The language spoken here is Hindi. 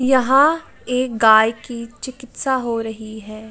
यहाँ एक गाय की चिकित्सा हो रही है।